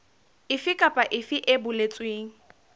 efe kapa efe e boletsweng